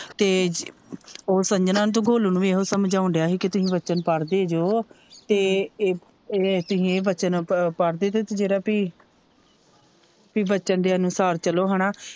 ਤੇ ਉਹ ਸੰਜਨਾ ਤੇ ਗੋਲੂ ਨੂੰ ਵੀ ਇਹੋ ਸਮਝਾਉਂਣ ਦਿਆ ਹੀ ਕੇ ਤੁਸੀ ਵਚਨ ਪੜਦੇ ਜੋ ਤੇ ਇਹ ਤੁਹੀ ਵਚਨ ਪੜਦੇ ਜਿਹੜਾ ਪੀ ਵਚਨ ਦੇ ਅਨੁਸਾਰ ਚਲੋ ਹੇਨਾ।